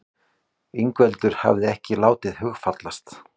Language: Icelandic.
Ingveldur hafði ekki látið hugfallast.